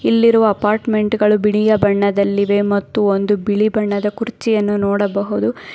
ಇಲ್ಲಿರುವ ಅಪಾರ್ಟ್ಮೆಂಟ್ ಗಳು ಬಿಳಿಯ ಬಣ್ಣದಲ್ಲಿವೆ ಮತ್ತು ಒಂದು ಬಿಳಿ ಬಣ್ಣದ ಕುರ್ಚಿಯನ್ನು ನೋಡಬಹುದು.